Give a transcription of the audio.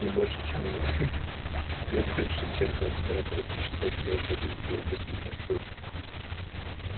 не больше чем за хе-хе не больше чем за сорок восемь часов мы должны убедить его пустить нас в рубку